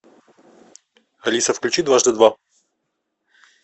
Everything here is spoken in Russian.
алиса включи дважды два